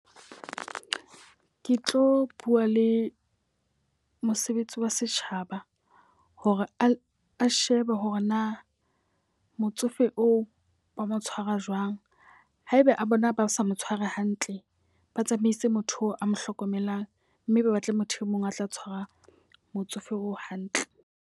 Ke tlo bua le mosebetsi wa setjhaba hore a shebe hore na motsofe oo ba mo tshwara jwang. Haeba a bona ba sa mo tshware hantle, ba tsamaise motho a mo hlokomelang. Mme ba batle motho e mong a tla tshwara motsofe oo hantle.